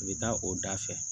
I bɛ taa o da fɛ